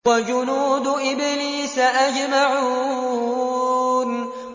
وَجُنُودُ إِبْلِيسَ أَجْمَعُونَ